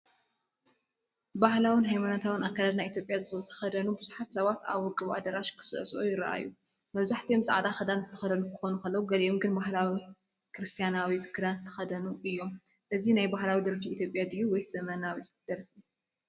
ብባህላዊ ሃይማኖታውን ኣከዳድና ኢትዮጵያ ዝተኸድኑ ብዙሓት ሰባት ኣብ ውቁብ ኣዳራሽ ክስዕስዑ ይረኣዩ። መብዛሕትኦም ጻዕዳ ክዳን ዝተኽደኑ ክኾኑ ከለዉ፡ ገሊኦም ግን ባህላዊ ክርስትያናዊ ክዳን ዝተኸድኑ እዮም። እዚ ናይ ባህላዊ ደርፊ ኢትዮጵያ ድዩ ወይስ ዘመናዊ ደርፊ?